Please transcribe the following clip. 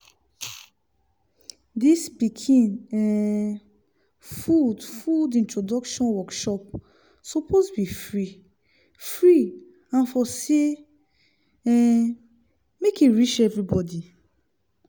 dis pikin um food food introduction workshops suppose be free-free and for say um make e reach everybody